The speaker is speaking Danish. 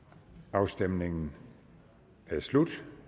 afstemningen er slut